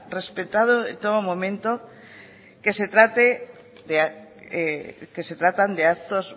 respetando en todo momento que se tratan de actos